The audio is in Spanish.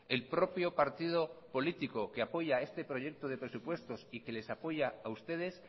el propio partido político que apoya este proyecto de presupuestos y les apoya a ustedes